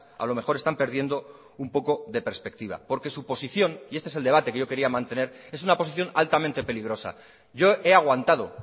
a lo mejor están perdiendo un poco de perspectiva porque su posición y este es el debate que yo quería mantener es una posición altamente peligrosa yo he aguantado